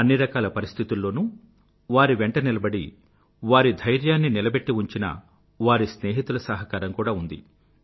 అన్ని పరిస్థితుల్లోనూ వారి వెంట నిలబడి వారి ధైర్యాన్ని నిలబెట్టి ఉంచిన వారి స్నేహితుల సహకారం కూడా ఉంది